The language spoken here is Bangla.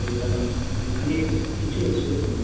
রয়ে গেলো মানে কিছু অসুবিধা হয় নি।